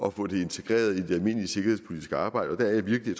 at få det integreret i det almindelige sikkerhedspolitiske arbejde det er jeg virkelig